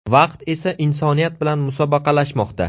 Vaqt esa insoniyat bilan musobaqalashmoqda.